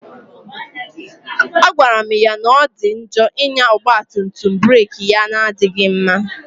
A gwara m ya na ọ dị njọ ịnya ọgba tum tum burek ya na-adịghị mma